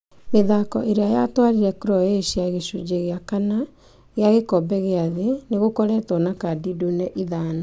Mithako ĩrĩa yatwarire Croatia gĩcunjĩ gĩa kana kĩa gĩkombe gĩa thĩ nĩgũkoretwo na kadi ndune ithano.